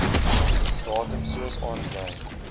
datum soos aangedui